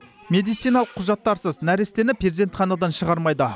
медициналық құжаттарсыз нәрестені перзентханадан шығармайды